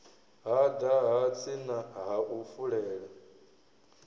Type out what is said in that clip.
hada hatsi ha u fulela